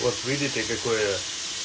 вот видите какое